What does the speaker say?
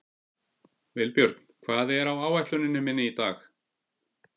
Vilbjörn, hvað er á áætluninni minni í dag?